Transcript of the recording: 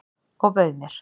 Og bauð mér.